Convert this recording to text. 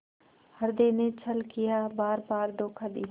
हृदय ने छल किया बारबार धोखा दिया